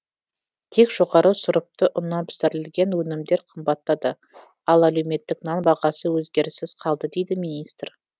тек жоғары сұрыпты ұннан пісірілетін өнімдер қымбаттады ал әлеуметтік нан бағасы өзгеріссіз қалды дейді министр